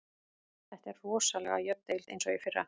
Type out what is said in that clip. Þetta er rosalega jöfn deild eins og í fyrra.